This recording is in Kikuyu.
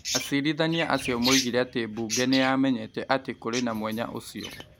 Acirithania acio moigire atĩmbunge nĩ yamenyete atĩ kũrĩ na mwenya ũcio ,